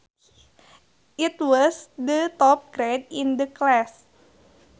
It was the top grade in the class